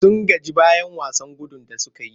Sun gaji bayan wasan gudun da suka yi.